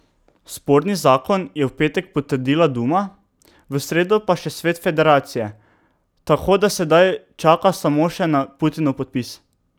Sporni zakon je v petek potrdila duma, v sredo pa še svet federacije, tako da sedaj čaka samo še na Putinov podpis.